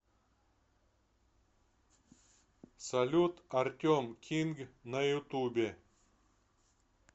салют артем кинг на ютубе